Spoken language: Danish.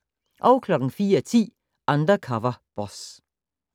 04:10: Undercover Boss